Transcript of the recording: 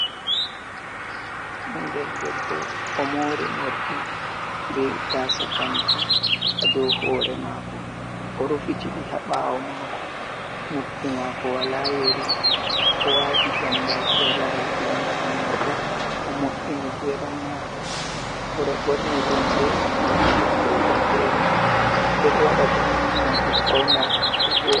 Ɓinngel debbo, o moori moorɗi be gaasa kanti haa dow hoore maako. O rufiti ɗi haa ɓaawo maako, noppi maako wala yeri, o waati jambaki haa laral hunnduko maako. O mo’’ini geeram maako, o ɗo ɓorni limse nonde fere fere, ɓe ɗo waɗa banni ngam ɓe fawna ɓe voo'ɗa.